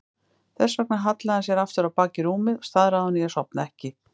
Þess vegna hallaði hann sér aftur á bak í rúmið, staðráðinn í að sofna ekki.